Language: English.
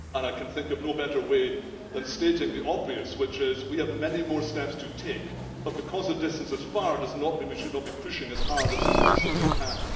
I can think of no better way of stating the obvious, which is that we have many more steps to take but because a distance is far does not mean we should not be pushing as hard as we possibly can.